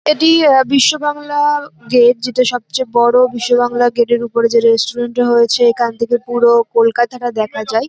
এটি আ বিশ্ব বাংলা গেট যেটা সবচেয়ে বড় বিশ্ব বাংলা গেট -এর উপরে যে রেস্টুরেন্ট টা হয়েছে। এখান থেকে পুরো কলকাতাটা দেখা যায়।